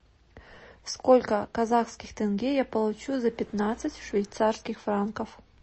сколько казахских тенге я получу за пятнадцать швейцарских франков